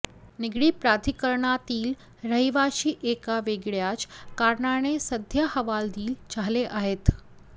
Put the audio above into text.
निगडी प्राधिकरणातील रहिवाशी एका वेगळ्याच कारणाने सध्या हवालदिल झाले आहेत